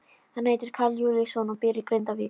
Hann heitir Karl Júlíusson og býr í Grindavík.